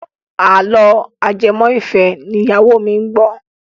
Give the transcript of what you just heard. Àlọ́ ajẹmọ́-ìfẹ́ ni ìyáwó mi ń gbọ́.